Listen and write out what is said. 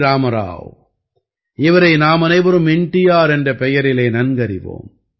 ராமாராவ் இவரை நாம் அனைவரும் என் டி ஆர் என்ற பெயரிலே நன்கறிவோம்